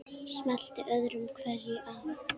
Smellti öðru hverju af.